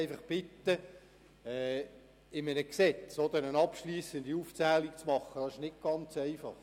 In einem Gesetz eine abschliessende Aufzählung zu machen, ist nicht ganz einfach.